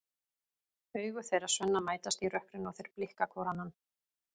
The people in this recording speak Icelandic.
Augu þeirra Svenna mætast í rökkrinu og þeir blikka hvor annan.